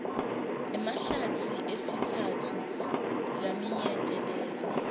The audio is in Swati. emahlatsi esitsatfu laminyetelene